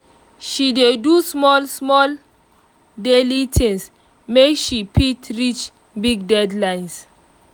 she dey do small small daily things make she fit reach big deadlines